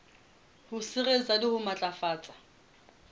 ho sireletsa le ho matlafatsa